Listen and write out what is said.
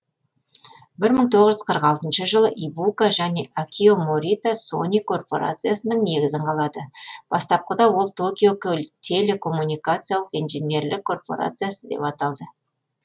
бір мың тоғыз жүз қырық алтыншы жылы ибука және акио морита сони корпорациясының негізін қалады бастапқыда ол токио телекоммуникациялық инженерлік корпорциясы деп аталды